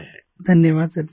प्रेम जी धन्यवाद सर जी